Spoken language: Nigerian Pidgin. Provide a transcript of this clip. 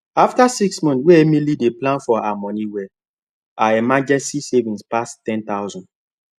after six months wey emily dey plan her money well her emergency savings pass ten thousand